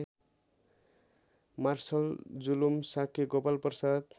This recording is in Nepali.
मार्सलजुलुम शाक्य गोपालप्रसाद